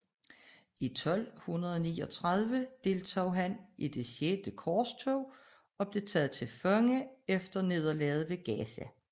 I 1239 deltog han i det Sjette Korstog og blev taget til fange efter nederlaget ved Gaza